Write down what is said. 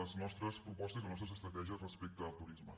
les nostres propostes i les nostres estratègies respecte al turisme